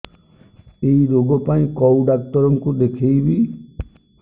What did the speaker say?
ଏଇ ରୋଗ ପାଇଁ କଉ ଡ଼ାକ୍ତର ଙ୍କୁ ଦେଖେଇବି